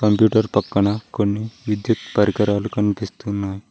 Computer పక్కన కొన్ని విద్యుత్ పరికరాలు కనిపిస్తున్నాయ్.